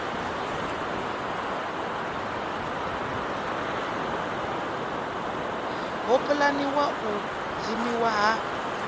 ho pulaniwaho u dzimiwa ha